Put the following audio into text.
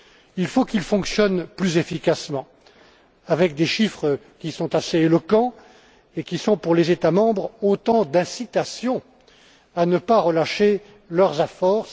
Il faut qu'il fonctionne plus efficacement, avec des chiffres qui soient assez éloquents et qui soient, pour les États membres, autant d'incitations à ne pas relâcher leurs efforts.